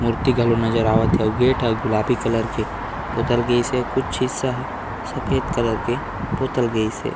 मूर्ति घलो नज़र आवत हे अउ गेट ह गुलाबी कलर के पोतल गइस हे अउ कुछ हिस्सा ह सफ़ेद कलर के पोतल गइस हे।